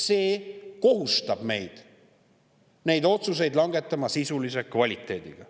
See kohustab meid langetama neid otsuseid sisulise kvaliteediga.